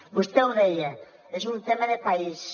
vostè ho deia és un tema de país